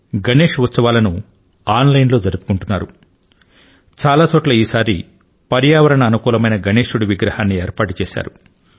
గణేశ్ ఉత్సవాలను కొన్ని చోట్ల ఆన్ లైన్ లో కూడా జరుపుకుంటున్నారు చాలా చోట్ల పర్యావరణ మిత్రపూర్వకమైన గణేశ విగ్రహాలను ఏర్పాటు చేశారు